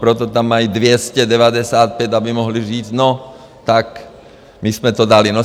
Proto tam mají 295, aby mohli říct, no tak my jsme to dali.